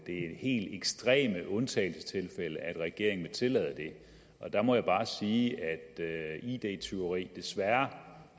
er i helt ekstreme undtagelsestilfælde regeringen vil tillade det og der må jeg bare sige at id tyveri desværre